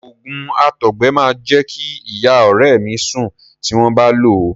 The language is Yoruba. Òògùn àtọgbẹ máa jẹ́ kí ìyá ọ̀rẹ́ mi sùn tí wọ́n bá lòó.